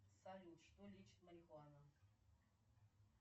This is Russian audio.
салют что лечит марихуана